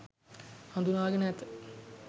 හදුනාගෙන ඇත